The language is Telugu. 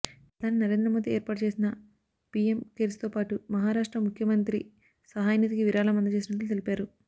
ప్రధాని నరేంద్ర మోదీ ఏర్పాటు చేసిన పీఎం కేర్స్తో పాటు మహారాష్ట్ర ముఖ్యమంత్రి సహాయనిధికి విరాళం అందజేసినట్లు తెలిపారు